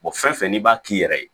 fɛn fɛn n'i b'a k'i yɛrɛ ye